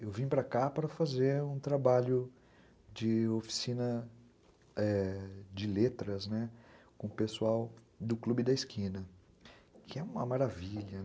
Eu vim para cá para fazer um trabalho de oficina de letras, né, com o pessoal do Clube da Esquina, que é uma maravilha.